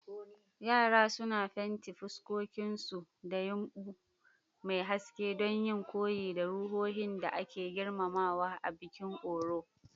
Yara suna fenti fuskokinsu da yumbu mai haske don yin koyi da ruhohin da ake girmamawa a bikin Oro.